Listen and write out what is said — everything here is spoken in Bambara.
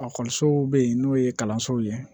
bɛ yen n'o ye kalansow ye